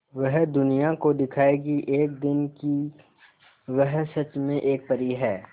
वह दुनिया को दिखाएगी एक दिन कि वह सच में एक परी है